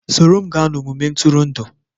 Soro m gaa n'ogige ntụrụndụ